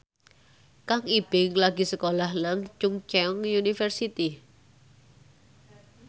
Kang Ibing lagi sekolah nang Chungceong University